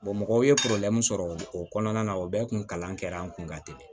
mɔgɔw ye sɔrɔ o kɔnɔna na o bɛɛ kun kalan kɛra an kun ka teli